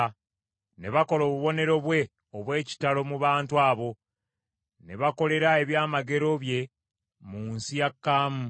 Ne bakola obubonero bwe obw’ekitalo mu bantu abo; ne bakolera ebyamagero bye mu nsi ya Kaamu.